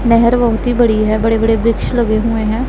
नेहेर बहुत ही बड़ी है बड़े बड़े वृक्ष लगे हुए हैं।